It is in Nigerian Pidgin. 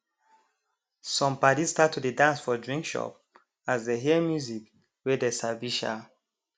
some padi start to dey dance for drink shop as dey hear music wey dey sabi um